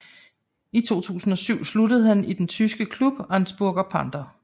I 2007 sluttede han sig til den tyske klub Augsburger Panther